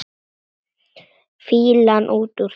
Fýlan út úr þér!